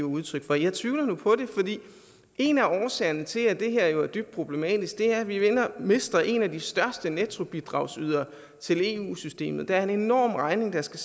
udtryk for jeg tvivler nu på det fordi en af årsagerne til at det her jo er dybt problematisk er at vi mister en af de største nettobidragsydere til eu systemet der er en enorm regning der skal